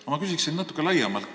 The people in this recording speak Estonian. Aga ma küsin natukene laiemalt.